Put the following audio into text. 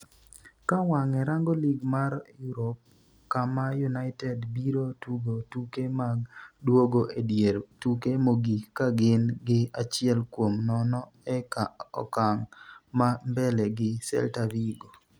ka wang'e rango lig mar Europe kama United biro tugo tuke mag duogo e dier tuke mogik kagin gi achiel kuom nono e okang' ma mbele gi Celta Vigo